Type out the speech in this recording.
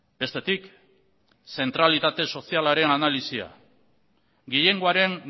bestetik zentralitate sozialaren analisia gehiengoaren